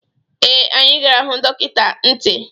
Ee, anyị gara hụ dọkịta ntị.